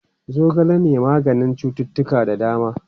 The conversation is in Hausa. Zogale na maganin cuttutuka da dama.